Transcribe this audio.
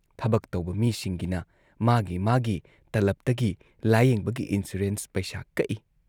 ꯊꯕꯛ ꯇꯧꯕ ꯃꯤꯁꯤꯡꯒꯤꯅ ꯃꯥꯒꯤ ꯃꯥꯒꯤ ꯇꯂꯕꯇꯒꯤ ꯂꯥꯌꯦꯡꯕꯒꯤ ꯏꯟꯁꯨꯔꯦꯟꯁ ꯄꯩꯁꯥ ꯀꯛꯏ ꯫